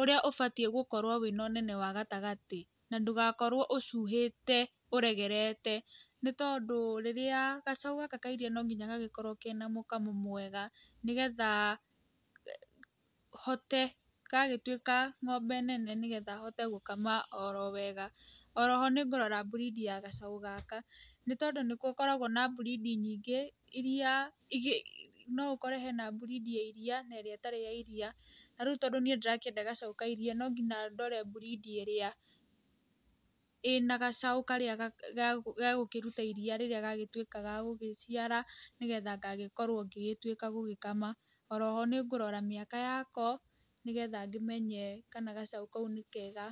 ũrĩa ũbatiĩ gũkorwo wĩna ũnene wa gatagatĩ na ndũgakorwo ũcuhĩte ũregerete. Nĩ tondũ rĩrĩa gacaũ gaka ka iria no nginya gagĩkorwo kena mũkamo mwega, nĩgetha hote gagĩtuĩka ng'ombe nene nĩgetha hote gũkama oro wega. Oro ho nĩngũrora breed ya gacaũ gaka nĩ tondũ nĩ gũkoragwo na breed nyingĩ irĩa no ũkore hena breed ya iria na ĩrĩa ĩtarĩ ya iria. Na rĩu tondũ niĩ ndĩrakĩenda gacaũ ka iria no nginya ndore breed ĩrĩa ĩna gacaũ karĩa gegũkĩruta iria rĩrĩa gagĩtuĩka gagũgĩciara nĩgetha ngagĩkorwo ngĩgĩtuĩka gũgĩkama. Oro ho nĩ ngũrora mĩaka yako nĩgetha ngĩmenye kana gacaũ kau nĩ kega.